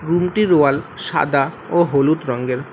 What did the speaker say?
রুমটির ওয়াল সাদা ও হলুদ রঙ্গের।